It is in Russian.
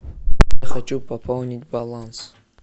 хочу пополнить баланс